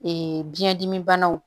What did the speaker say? biyɛndimibanaw